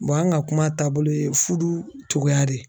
an ka kuma taabolo ye fudu cogoya di.